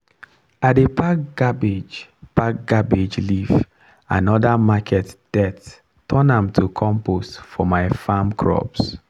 i dey pack cabbage pack cabbage leaf and other market dirt turn am to compost for my farm crops.